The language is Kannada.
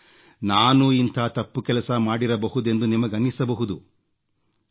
ಓಹ್ ನಾನೂ ಇಂಥ ತಪ್ಪು ಕೆಲಸ ಮಾಡಿರಬಹುದೆಂದು ನಿಮಗನ್ನಿಸಬಹುದು